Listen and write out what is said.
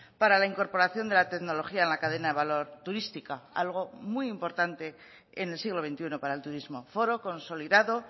para la incorporación de la tecnología en la cadena de valor turística algo muy importante en el siglo veintiuno para el turismo foro consolidado